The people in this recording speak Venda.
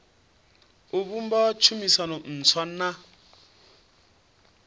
o vhumba tshumisano ntswa na